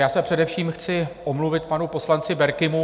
Já se především chci omluvit panu poslanci Berkimu.